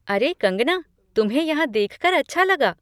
अरे कंगना, तुम्हें यहाँ देखकर अच्छा लगा।